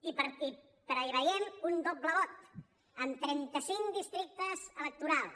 i preveiem un doble vot amb trenta cinc districtes electorals